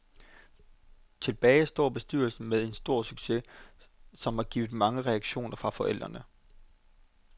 Tilbage står bestyrelsen med en stor succes, som har givet mange reaktioner fra forældrene.